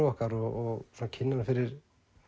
okkar og kynna hann fyrir